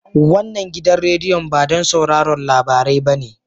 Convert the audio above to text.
Wannan gidan rediyon ba don sauraron labarai bane